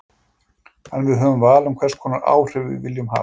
En við höfum val um hvers konar áhrif við viljum hafa.